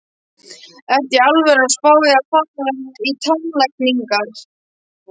Ertu í alvöru að spá í að fara í tannlækningar?